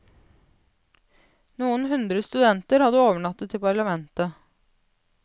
Noen hundre studenter hadde overnattet i parlamentet.